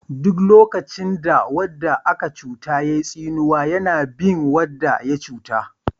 Duk lokacin da wanda aka cuta yayi tsinewa yana bin wanda ya cuta.